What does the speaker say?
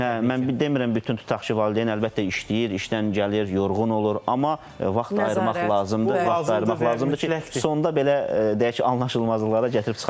Hə, mən demirəm bütün tutaq ki, valideyn əlbəttə işləyir, işdən gəlir, yorğun olur, amma vaxt ayırmaq lazımdır, vaxt ayırmaq lazımdır ki, sonda belə deyək ki, anlaşılmazlıqlara gətirib çıxarmasın.